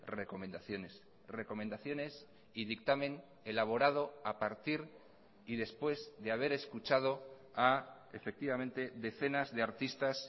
recomendaciones recomendaciones y dictamen elaborado a partir y después de haber escuchado a efectivamente decenas de artistas